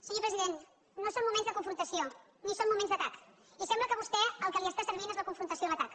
senyor president no són moments de confrontació ni són moments d’atac i sembla que a vostè el que li està servint és la confrontació i l’atac